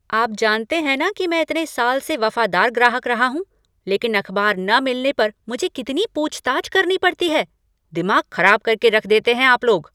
आप जानते हैं न कि मैं इतने साल से वफ़ादार ग्राहक रहा हूँ लेकिन अखबार न मिलने पर मुझे कितनी पूछ ताछ करनी पड़ती है। दिमाग खराब करके रख देते हैं आप लोग।